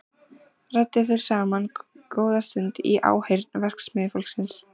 Ræddu þeir saman góða stund í áheyrn verksmiðjufólksins.